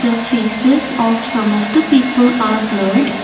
the faces of some of the people are blur.